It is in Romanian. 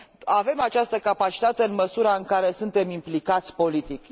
Avem această capacitate, în măsura în care suntem implicați politic.